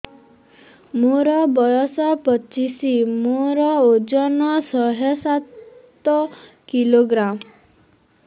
ମୋର ବୟସ ପଚିଶି ମୋର ଓଜନ ଶହେ ସାତ କିଲୋଗ୍ରାମ